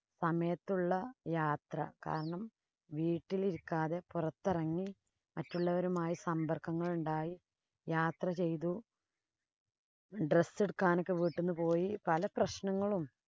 സമയത്തുള്ള യാത്ര. കാരണം, വീട്ടിലിരിക്കാതെ പൊറത്തെറങ്ങി മറ്റുള്ളവരുമായി സമ്പര്‍ക്കങ്ങളുണ്ടായി യാത്ര ചെയ്തു. Dress എടുക്കാനൊക്കെ വീട്ടീന്ന് പോയി. പല പ്രശ്നങ്ങളും